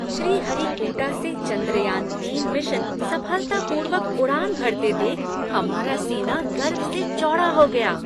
श्रीहरिकोटा से चंद्रयान तीन मिशन सफलता पूर्वक उड़ान भरते देख हमारा सीना गर्व से चौड़ा हो गया।